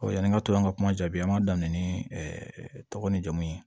yani n ka to an ka kuma jaabi an b'a daminɛ ni tɔgɔ ni jamu ye